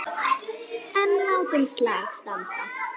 En látum slag standa.